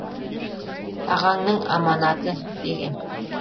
ағаңның аманаты деген